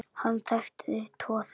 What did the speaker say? Hann þekkti tvo þeirra.